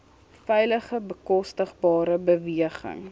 veilige bekostigbare beweging